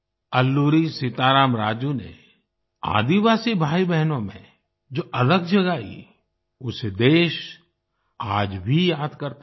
अल्लूरी सीताराम राजू ने आदिवासी भाईबहनों में जो अलख जगाई उसे देश आज भी याद करता है